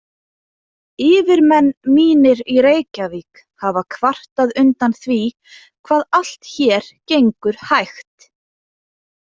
Yfirmenn mínir í Reykjavík hafa kvartað undan því hvað allt hér gengur hægt.